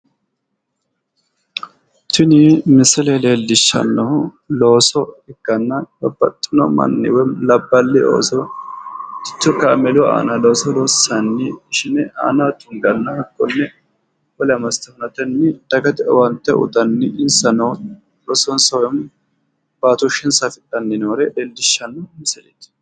Tini misile leellishanohu loosu dana ikkanna kuni loosu danino qoxxeesu coichima agarate yte wedellu qoxxeesu manni busawinore ishine abbe gamba assenna hate baseni kaamelaho worte wole basera huntanni looso loosidhe heedhano gara leellishano misileti.